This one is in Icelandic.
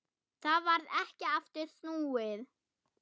Það varð ekki aftur snúið.